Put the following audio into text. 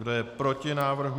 Kdo je proti návrhu?